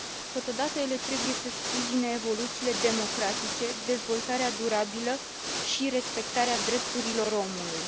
Totodată, ele trebuie să sprijine evoluțiile democratice, dezvoltarea durabilă și respectarea drepturilor omului.